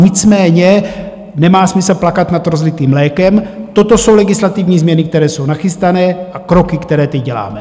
Nicméně nemá smysl plakat nad rozlitým mlékem, toto jsou legislativní změny, které jsou nachystané, a kroky, které teď děláme.